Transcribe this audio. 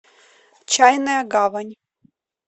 чайная гавань